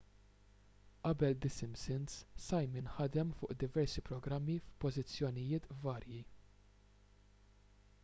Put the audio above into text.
qabel the simpsons simon ħadem fuq diversi programmi f'pożizzjonijiet varji